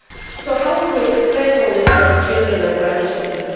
So how will we explain all this to our children and grandchildren?